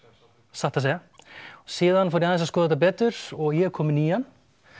satt að segja síðan fór ég aðeins að skoða þetta betur og ég er kominn í hann